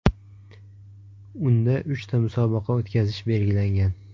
Unda uchta musobaqa o‘tkazish belgilangan.